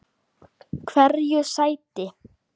Hverju sætti?